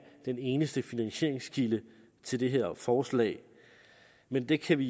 den eneste finansieringskilde til det her forslag men det kan vi